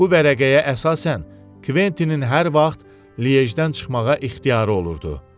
Bu vərəqəyə əsasən Kventinin hər vaxt Lije-dən çıxmağa ixtiyarı olurdu.